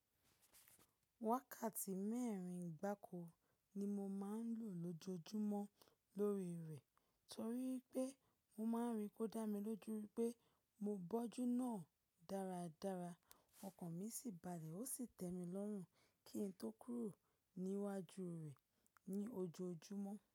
Wákàtí mẹ́rin gbàko ni mo máa ń lò lójojúmọ́ lórí rẹ̀ torí wipé mo máa ń rí pe odá mi lójú wipé mo bọ́jú náà dáradára, ọkàn mi sì balẹ̀ ó sì tẹ́mi lọ́rùn kí n tó kúrò níwájú rẹ̀ ní ojoojúmọ́.